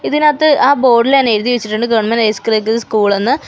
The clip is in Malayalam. ഇതിനാത്ത് ആ ബോഡ് ഇൽ തന്നെ എഴുതി വെച്ചിട്ടുണ്ട് ഗവൺമെൻറ് ഹൈ സ്കൂളെന്ന് .